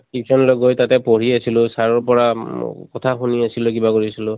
tuition লৈ গৈ তাতে পঢ়ি আছিলোঁ। sir ৰ পৰা অম কথা শুনি আছিলোঁ, কিবা কৰিছিলোঁ